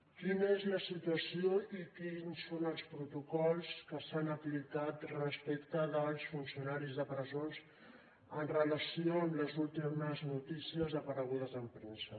quina és la situació i quins són els protocols que s’han aplicat respecte dels funcionaris de presons en relació amb les últimes notícies aparegudes en premsa